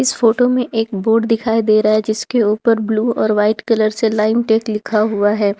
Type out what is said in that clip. इस फोटो में एक बोर्ड दिखाई दे रहा है जिसके ऊपर ब्लू और वाइट कलर से लाइम टेक लिखा हुआ है।